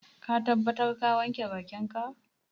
Ka tabbata ka wanke bakinka?